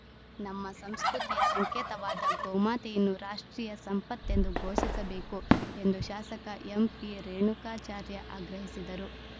ನಮ್ಮ ಸಂಸ್ಕೃತಿಯ ಸಂಕೇತವಾದ ಗೋಮಾತೆಯನ್ನು ರಾಷ್ಟ್ರೀಯ ಸಂಪತ್ತೆಂದು ಘೋಷಿಸಬೇಕು ಎಂದು ಶಾಸಕ ಎಂಪಿರೇಣುಕಾಚಾರ್ಯ ಆಗ್ರಹಿಸಿದರು